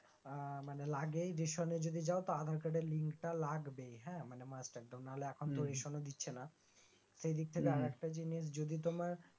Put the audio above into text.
এ মানে লাগেই রেশনে যদি যাও তো আধার কার্ডের লিঙ্ক টা লাগবেই হ্যাঁ মানে মাস্ট একদম নাহলে এখন তো হম রেশন ও দিচ্ছেনা সেইদিক থেকে আরেকটা জিনিস যদি তোমার